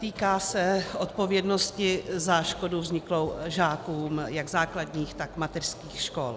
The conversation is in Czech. Týká se odpovědnosti za škodu vzniklou žákům jak základních, tak mateřských škol.